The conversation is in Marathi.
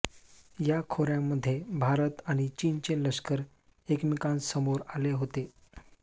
या खोऱ्यांमध्ये भारत आणि चीनचे लष्कर एकमेकांसमोर आले होते